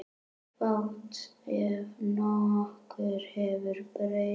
Fátt ef nokkuð hefur breyst.